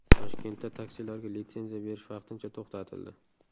Toshkentda taksilarga litsenziya berish vaqtincha to‘xtatildi.